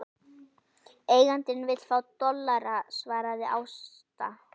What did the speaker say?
Eigandinn vill fá dollara, svaraði Ásta.